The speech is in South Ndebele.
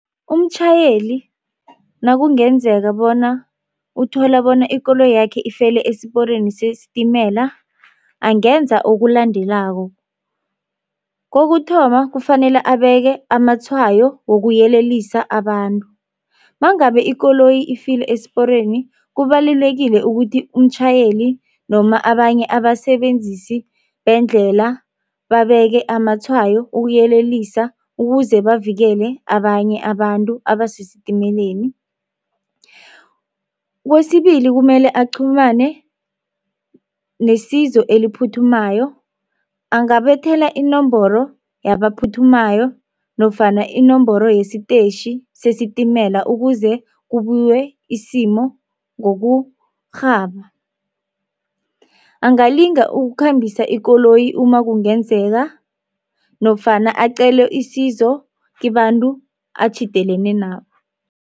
Umtjhayeli nakungenzeka bona uthola bona ikoloyi yakhe ifele esiporweni sesitimela angenza okulandelako. Kokuthoma kufanele abeke amatshwayo wokuyelelisa abantu mangabe ikoloyi ifile esiporweni kubalulekile ukuthi umtjhayeli noma abanye abasebenzisi beendlela babeke amatshwayo ukuyelelisa ukuze bavikele abanye abantu abasesitimeleni. Kwesibili kumele aqhumane nesizo eliphuthumayo angabethela inomboro yabaphuthumayo nofana inomboro yesitetjhi sesitimela ukuze kubuywe isimo ngokurhaba. Angalinga ukukhambisa ikoloyi uma kungenzeka nofana acele isizo kibantu atjhidelene nabo.